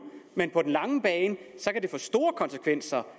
men på den lange bane kan det få store konsekvenser